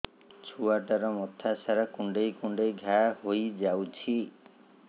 ଛୁଆଟାର ମଥା ସାରା କୁଂଡେଇ କୁଂଡେଇ ଘାଆ ହୋଇ ଯାଇଛି